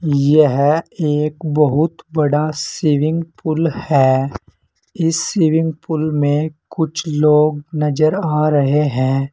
यह एक बहुत बड़ा सिविंग पूल है इस स्विमिंग पूल में कुछ लोग नजर आ रहे हैं।